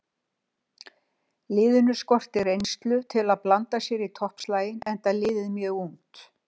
Liðinu skortir reynslu til að blanda sér í toppslaginn enda liðið mjög ungt.